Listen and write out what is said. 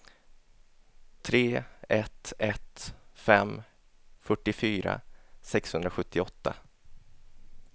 tre ett ett fem fyrtiofyra sexhundrasjuttioåtta